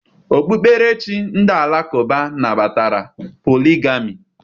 Okpukperechi ndị Alakụba nabatara poligami